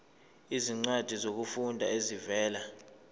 izincwadi zokufunda ezivela